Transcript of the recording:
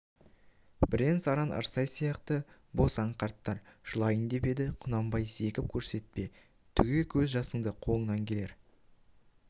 бірен-саран ырсай сияқты босаң қарттар жылайын деп еді құнанбай зекіп көрсетпе түге көз жасыңды қолыңнан келер